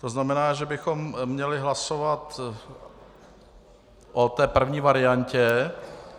To znamená, že bychom měli hlasovat o té první variantě.